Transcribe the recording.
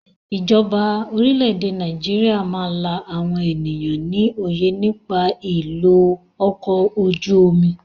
Ìjọba orílẹ̀ èdè Nàìjíríà máa la àwọn ènìyàn ní òye nípa ìlò ọkọ ojú omi.